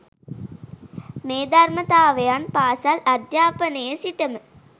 මේ ධර්මතාවයන් පාසල් අධ්‍යාපනයේ සිටම